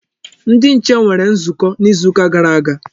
Ndi nche nwere nzukọ n'izuka gara aga.